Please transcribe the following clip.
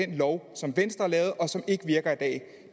den lov som venstre har lavet og som ikke virker i dag